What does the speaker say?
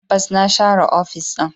Tabbas na share ofis din.